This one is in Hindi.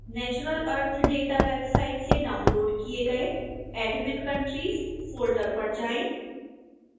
natural earth data वेबसाइट से डाउनलोड़ किए गए admin countries फोल्डर पर जाएं